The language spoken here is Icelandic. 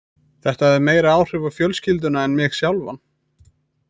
Þetta hafði meiri áhrif á fjölskylduna en mig sjálfan.